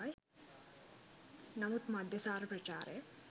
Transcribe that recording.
නමුත් මද්‍යසාර ප්‍රචාරය